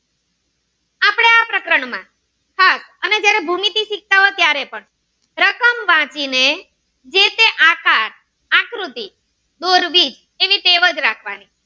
લખો ત્યારે પણ રકમ વાંચીને જે તે આકાર, આકૃતિ દોરવી તેની ટેવ જ રાખવાની